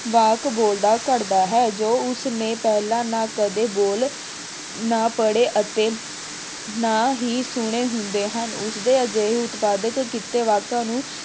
ਵਾਕ ਬੋਲਦਾ ਘੜਦਾ ਹੈ, ਜੋ ਉਸਨੇ ਪਹਿਲਾਂ ਨਾ ਕਦੇ ਬੋਲੇ ਨਾ ਪੜ੍ਹੇ ਅਤੇ ਨਾ ਹੀ ਸੁਣੇ ਹੁੰਦੇ ਹਨ। ਉਸਦੇ ਅਜਿਹੇ ਉਤਪਾਦਕ ਕੀਤੇ ਵਾਕਾਂ ਨੂੰ